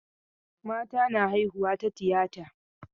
Mata na haihuwa ta tiyata.